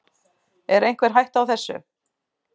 Er einhver hætta á þessu?